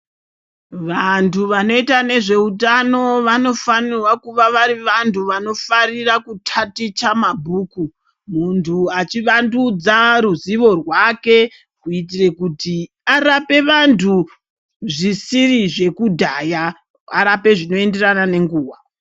Vantu vanoita nezveutano vanofana kuva vari vantu vanofarira kutaticha mabhuku, muntu achivandudza ruzivo rwake kuitire kuti arape vantu zvisiri zvekudhaya, arape zvinoenderana nenguwa.